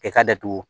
E ka datugu